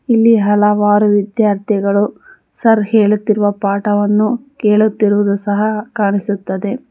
ಇಲ್ಲಿ ಹಲವಾರು ವಿದ್ಯಾರ್ಥಿಗಳು ಸರ್ ಹೇಳುತ್ತಿರುವ ಪಾಠವನ್ನು ಕೇಳುತ್ತಿರುವುದು ಸಹ ಕಾಣಿಸುತ್ತದೆ.